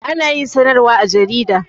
Ana yin sanarwa a jarida